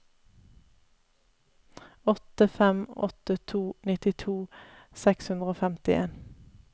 åtte fem åtte to nittito seks hundre og femtien